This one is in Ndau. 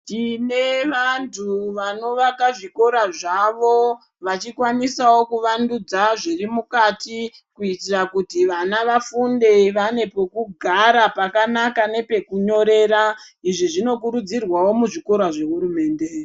Tine vanthu vanovakabzvikora zvavo vachikwanisawo kuvandudza zviri mukati kuitira kuti vana vafunde vane pekugara nepekunyorera izvi zvinokurudzirwawo muzvikora zvehurumende.